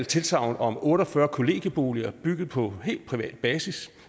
tilsagn om otte og fyrre kollegieboliger bygget på helt privat basis